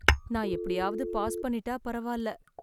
நான் எப்படியாவது பாஸ் பண்ணிட்டா பரவாயில்ல